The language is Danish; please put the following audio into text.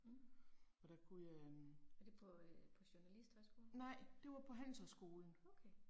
Mh. Er det på øh, på journalisthøjskolen? Okay